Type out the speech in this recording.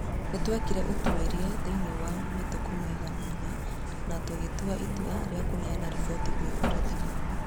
Nĩ twekire ũtwĩria thĩinĩe wa matukũmaigana ũna na tũgĩtua itũa rĩa kũneana rĩboti gwi borĩthĩ